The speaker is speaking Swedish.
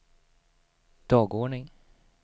dagordning